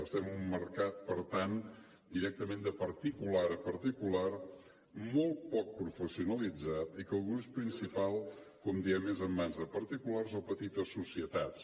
estem en un mercat per tant directament de particular a particular molt poc professionalitzat i que el gruix principal com diem és en mans de particulars o petites societats